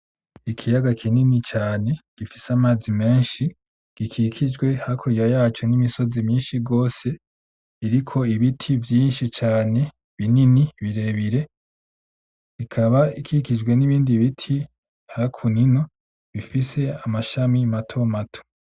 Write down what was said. Ikiyaga kinini cane gifise amazi menshi gikikijwe hakurya yaco n'imisozi myinshi gose iriko ibiti vyinshi cane binini bire bire ikaba ikikijwe n'ibindi biti hakuno ino bifise amashami mato mato.